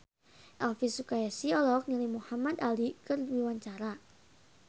Elvy Sukaesih olohok ningali Muhamad Ali keur diwawancara